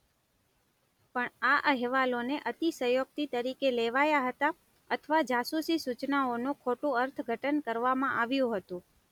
પણ આ અહેવાલોને અતિશયોક્તિ તરીકે લેવાયા હતા અથવા જાસૂસી સૂચનાઓનું ખોટું અર્થઘટન કરવામાં આવ્યું હતું.